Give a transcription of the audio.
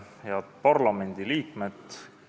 Head parlamendiliikmed!